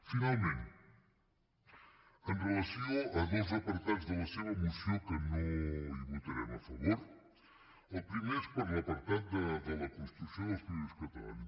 finalment amb relació a dos apartats de la seva moció que no hi votarem a favor el primer és per a l’apartat de la construcció dels països catalans